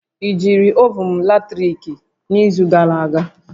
I jiri ovun latrik n'izu gara aga?